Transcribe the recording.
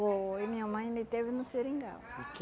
Foi, minha mãe me teve no seringal. O que